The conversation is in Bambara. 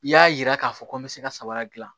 I y'a yira k'a fɔ ko n bɛ se ka sabara dilan